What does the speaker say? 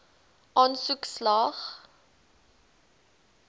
aansoek slaag